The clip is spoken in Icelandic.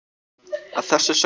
að þessu sögðu